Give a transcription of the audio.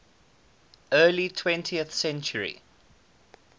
early twentieth century